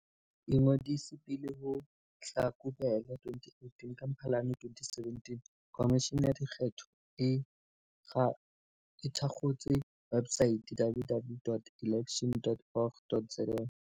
Ingodise pele ho Hlakubele 2018 Ka Mphalane 2017, Khomishene ya Dikgetho e thakgotse websaete www dot elections dot org dot za.